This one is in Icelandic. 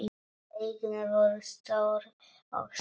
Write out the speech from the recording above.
Augun voru stór og skýr.